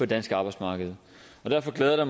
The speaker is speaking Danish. danske arbejdsmarked derfor glæder